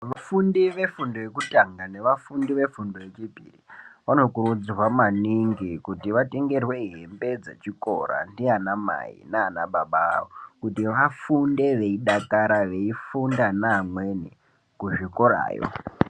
Vafundi ve fundo yekutanga neva fundo ve fundo ye chipiri vano kurudzirwa maningi kuti vatengerwe hembe dzechikora ndiana mai nana baba avo kuti vafunde vei dakara veifunda ne amweni ku zvikorayo.